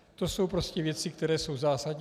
To jsou prostě věci, které jsou zásadní.